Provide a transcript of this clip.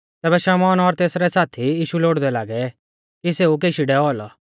तैबै शमौन और तेसरै साथी यीशु लोड़दै लागै कि सेऊ केशी डैऔ औलौ